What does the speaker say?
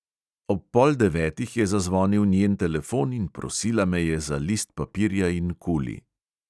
Ob pol devetih je zazvonil njen telefon in prosila me je za list papirja in kuli.